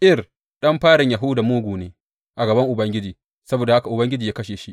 Er, ɗan farin Yahuda mugu ne a gaban Ubangiji, saboda haka Ubangiji ya kashe shi.